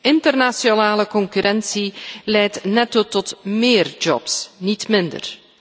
Internationale concurrentie leidt net tot meer jobs, niet minder.